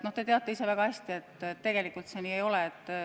No te teate ise väga hästi, et tegelikult see nii ei ole.